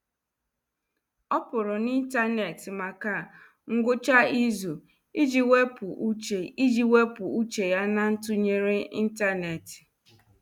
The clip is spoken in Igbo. Ọ pụrụ n'ịntanetị maka ngwụcha izu iji wepụ uche iji wepụ uche ya na ntụnyere ntanetị.